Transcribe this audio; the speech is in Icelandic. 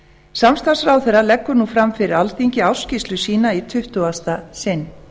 samstarfsráðherra leggur nú fram fyrir alþingi ársskýrslu sína í tuttugasta sinn